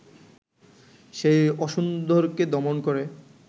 সেই অসুন্দরকে দমন করে